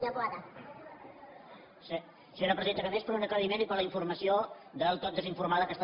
senyora presidenta només per a un aclariment i per a la informació del tot desinformada que està